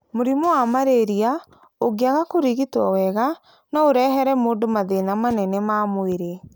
Mũrimũ wa malaria ũngĩaga kũrigitwo wega no ũrehere mũndũ mathĩna manene ma mwĩrĩ.